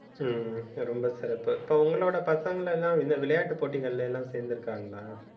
ஹம் ரொம்ப சிறப்பு அப்புறம் இப்ப உங்களோட பசங்களை எல்லாம் இந்த வி~ விளையாட்டுப் போட்டிகள்ல எல்லாம் சேர்ந்திருக்காங்களா